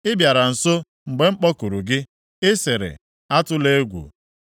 Ị bịara nso mgbe m kpọkuru gị. Ị sịrị, “Atụla egwu.”